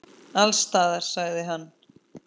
Alls staðar, sagði hann.